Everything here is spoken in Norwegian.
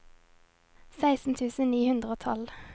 seksten tusen ni hundre og tolv